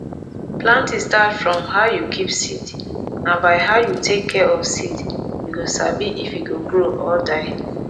planting start from how you keep seed na by how you take care of seed you go sabi if e go grow or die